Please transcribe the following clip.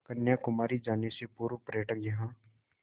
कन्याकुमारी जाने से पूर्व पर्यटक यहाँ